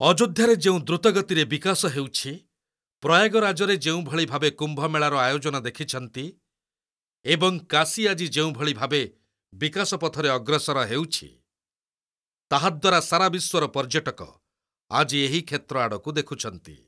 ଅଯୋଧ୍ୟାରେ ଯେଉଁ ଦ୍ରୁତ ଗତିରେ ବିକାଶ ହେଉଛି, ପ୍ରୟାଗରାଜରେ ଯେଉଁଭଳି ଭାବେ କୁମ୍ଭମେଳାର ଆୟୋଜନ ଦେଖିଛନ୍ତି, ଏବଂ କାଶୀ ଆଜି ଯେଉଁଭଳି ଭାବେ ବିକାଶ ପଥରେ ଅଗ୍ରସର ହେଉଛି, ତାହାଦ୍ୱାରା ସାରା ବିଶ୍ୱର ପର୍ଯ୍ୟଟକ ଆଜି ଏହି କ୍ଷେତ୍ର ଆଡକୁ ଦେଖୁଛନ୍ତି।